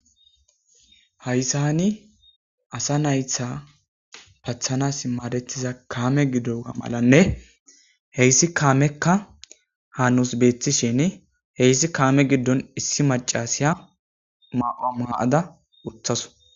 Hayssa ni asa naytha pathanas maadetiza kaame gidoa malanne heyssi kaamekka ha nus beethishin heyssi kaame giddon issi macasiya maqoa maada utthaso